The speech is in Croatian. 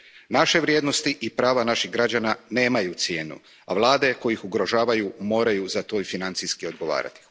Naše vrijednosti i prava naših građana nemaju cijenu, a vlade koje ih ugrožavaju moraju za to i financijski odgovarati.